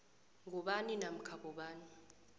ngubani namkha bobani